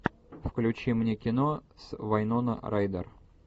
включи мне кино с вайнона райдер